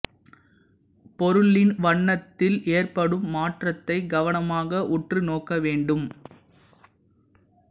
பொருளின் வண்ணத்தில் ஏற்படும் மாற்றத்தை கவனமாக உற்று நோக்க வேண்டும்